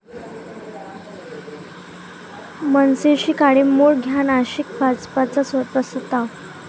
मनसेशी काडीमोड घ्या, नाशिक भाजपचा प्रस्ताव